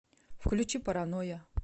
включи паранойя